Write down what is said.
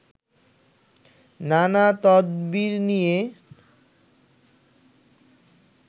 নানা তদবির নিয়ে